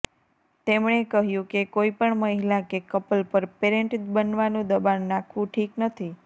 તેમણે કહ્યુ કે કોઈપણ મહિલા કે કપલ પર પેરેંટ બનવાનુ દબાણ નાખવુ ઠીક નથી